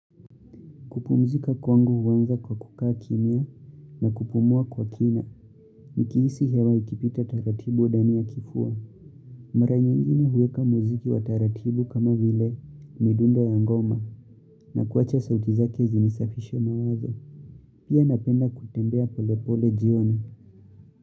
Kupumzika kwangu huanza kwa kukaa kimia na kupumua kwa kina. Nikihisi hewa ikipita taratibu ndani ya kifua. Mara nyingine huweka muziki wa taratibu kama vile midundo ya ngoma na kuacha sauti zake zinisafishe mawazo. Pia napenda kutembea pole pole jioni.